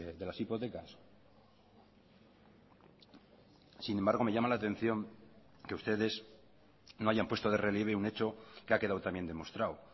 de las hipotecas sin embargo me llama la atención que ustedes no hayan puesto de relieve un hecho que ha quedado también demostrado